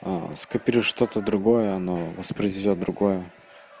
скопируй что-то другое оно воспроизведёт другое